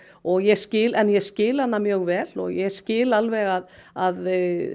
og ég skil en ég skil hana mjög vel og ég skil alveg að að